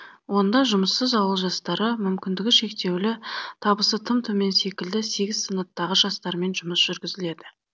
онда жұмыссыз ауыл жастары мүмкіндігі шектеулі табысы тым төмен секілді сегіз санаттағы жастармен жұмыс жүргізіледі